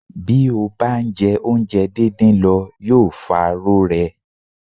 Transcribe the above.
Bí ó bá ń jẹ oúnjẹ dídín lọ yóò fa rorẹ́.